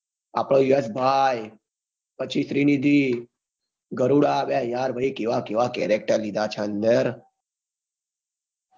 આપડો યસ ભાઈ પછી શ્રી નિધિ ગરુદાભાઈ અરે યાર કેવા કેવા cherector લીધા છે અંદર